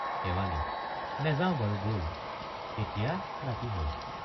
শেৱালি—নেযাও বাৰু বল এতিয়া ৰাতি হল।